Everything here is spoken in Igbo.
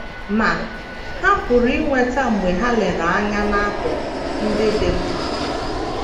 Ma, ha pụrụ inweta mgbe ha lere anya n’akụkụ ndị dị mma.